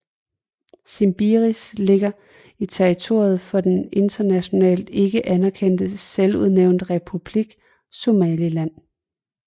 Shimbiris ligger på territoriet for den internationalt ikke anerkendte selvudnævnte republik Somaliland